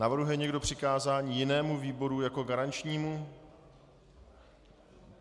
Navrhuje někdo přikázání jinému výboru jako garančnímu?